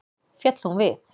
Féll hún við.